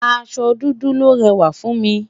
aṣọ dúdú lòó réwà fún mi